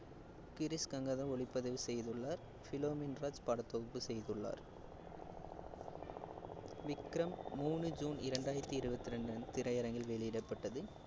கிரீஷ் கங்காதரன் ஒளிப்பதிவு செய்துள்ளார், பிலோமின் ராஜ் படத்தொகுப்பு செய்துள்ளார் விக்ரம் மூணு ஜூன் இரண்டாயிரத்தி இருவத்தி இரண்டு அன்~ திரையரங்கில் வெளியிடப்பட்டது